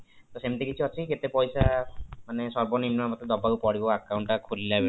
ତ ସେମିତି କିଛି ଅଛି କି କେତେ ପଇସା ମାନେ ସର୍ଵନିମ୍ନ ମତେ ଦବାକୁ ପଡିବ account ଟା ଖୋଲିଲା ବେଳେ